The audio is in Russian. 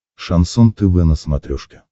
шансон тв на смотрешке